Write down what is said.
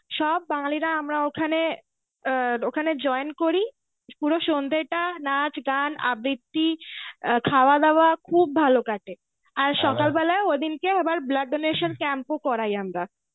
সব বাঙালিরা আমরা ওখানে আ ওখানে join করি পুরো সন্ধেটা নাচ গান আবৃত্তি আ খাওয়া দাওয়া খুব ভালো কাটে আর সকালবেলায় ঐদিনকে আবার blood donation camp ও করাই আমরা.